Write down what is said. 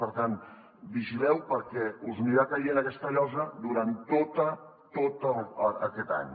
per tant vigileu perquè us anirà caient aquesta llosa durant tot aquest any